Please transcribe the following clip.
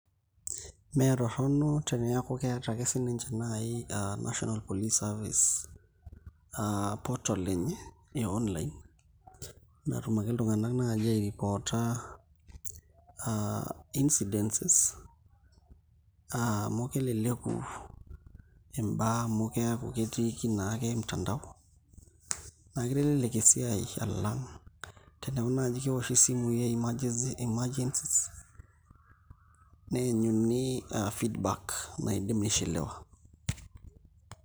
Mmeetorono teneaku keeta ake sinche nai national police service aaportal enye eonline natum ake naji iltunganak aireporter aaincidences aamu kelelek imbaa amu keaku ketiiki naake mtandao naa kitelelek esiai alang teneaku nai keoshi isimui emergency , emegencies neenyuni aafeedback naidim nishiliwa.